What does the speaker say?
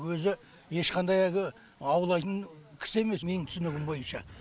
өзі ешқандай әгі аулайтын кісі емес менің түсінігім бойынша